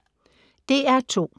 DR2